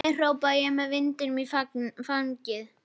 Því miður, hrópa ég með vindinn í fangið.